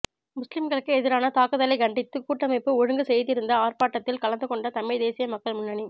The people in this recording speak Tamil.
முஸ்லிம்களுக்கு எதிரான தாக்குதலைக் கண்டித்து கூட்டமைப்பு ஒழுங்கு செய்திருந்த ஆர்ப்பாட்டத்தில் கலந்து கொண்ட தமிழ்த் தேசிய மக்கள் முன்னணி